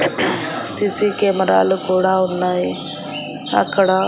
CC కెమెరాలు కూడా ఉన్నాయి అక్కడ--